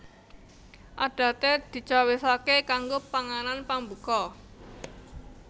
Adaté dicawisaké kanggo panganan pambuka